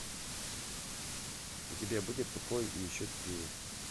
у тебя будет тупой и еще тупее